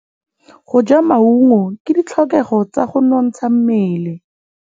Go ja maungo ke ditlhokegô tsa go nontsha mmele.